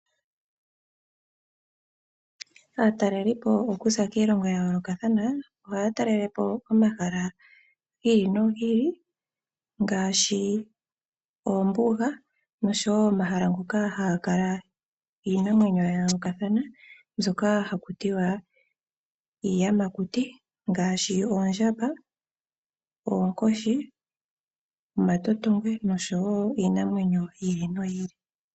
Aatelelipo okuza kiilongo ya yoolokathana oha ya talelepo omahala gi ili no gi ili ngaashi oombuga nosho woo omahala ngoka haga kala iinamwenyo ya yoolokathana mbyoka haku tiwa iiyamakuti ngaashi oondjamba, oonkoshi, omatotongwe, nosho woo iinamwenyo yi ili no yi ili.